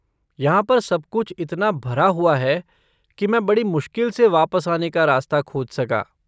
यहाँ पर सब कुछ इतना भरा हुआ है, कि मैं बड़ी मुश्किल से वापस आने का रास्ता खोज सका।